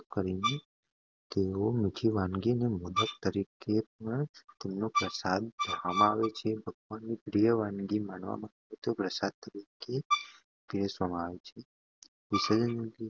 ચોખા, ગોળ, નારિયેળ અને સૂકા ફળનો ઉપયોગ કરીને તૈયાર કરવામાં આવેલી મીઠી વાનગી જેને મોદક તરીકે ઓળખવામાં આવે છેઅને ભગવાનની પ્રિય વાનગી માનવામાં આવે છે તે પ્રસાદ તરીકે પીરસવામાં આવે છે. વિસર્જન